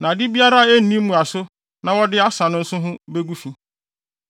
na ade biara a enni mmuaso na wɔde asa no nso ho begu fi.